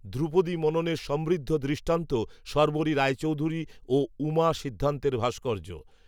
ধ্রুপদী মননের সমৃদ্ধ দৃষ্টান্ত শর্বরী রায়চৌধুরী, ও, উমা সিদ্ধান্তের ভাস্কর্য